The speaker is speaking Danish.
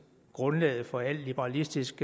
grundlaget for al liberalistisk